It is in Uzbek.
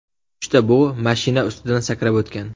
Uchta bug‘u mashina ustidan sakrab o‘tgan.